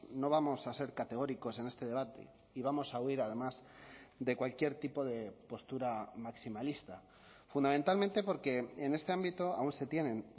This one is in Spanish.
no vamos a ser categóricos en este debate y vamos a huir además de cualquier tipo de postura maximalista fundamentalmente porque en este ámbito aún se tienen